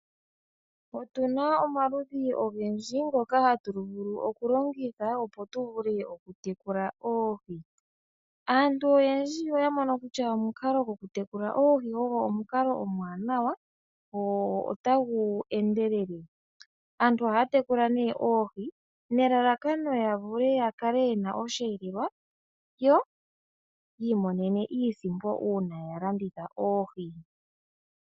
Otuna omaludhi ogendji ngoka hatu vulu okulongitha oku tekula oohi. Aantu oyendji oya mono kutya omukalo gwoku tekula oohi omwanawa notagu endelele. Aantu ohaya tekula ne oohi nelalakano opo ya kale yena osheelelwa, yo yi imonene iisimpo uuna ya landitha oohi